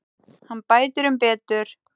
Hann bætir um betur.